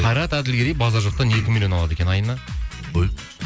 қайрат әділгерей базар жоқтан екі миллион алады екен айына қой